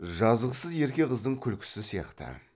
жазықсыз ерке қыздың күлкісі сияқты